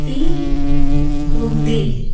Tea ఉంది.